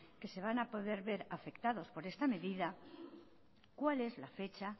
que se van a poder ver afectados por esta medida cuál es la fecha